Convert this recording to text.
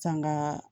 Sanga